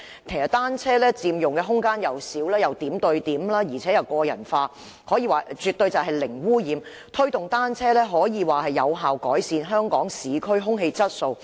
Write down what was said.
其實單車佔用的空間小，又可點對點，亦可個人化，可說絕對是零污染，推動單車應能有效改善香港市區空氣質素。